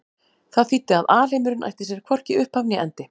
Það þýddi að alheimurinn ætti sér hvorki upphaf né endi.